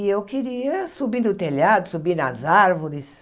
E eu queria subir no telhado, subir nas árvores.